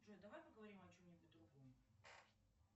джой давай поговорим о чем нибудь другом